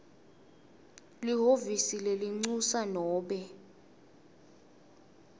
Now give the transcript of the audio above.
lihhovisi lelincusa nobe